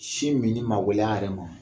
Sin minni magɛlɛya yɛrɛ ma